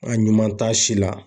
A ɲuman t'a si la.